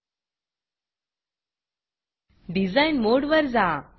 Designडिज़ाइन मोडवर जा